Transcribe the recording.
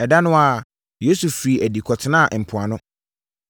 Ɛda no ara Yesu firii adi kɔtenaa mpoano.